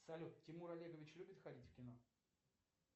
салют тимур олегович любит ходить в кино